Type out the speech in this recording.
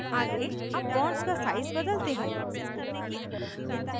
आगे अब bonds का size बदलते हैं